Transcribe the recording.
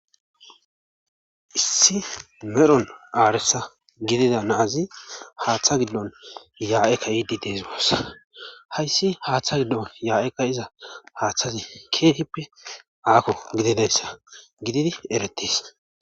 Issi merhon aaresa gidida naazi haaththa gildon yaa7eka idi deeziwoossa hayssi haaththa giddon yaa7eekka iza haaththazi keehippe aakko gididayssa gididi eretis